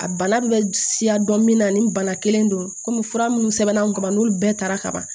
A bana bɛ siya dɔn min na ni bana kelen don fura minnu sɛbɛnna an kun ka ban n'olu bɛɛ taara kaban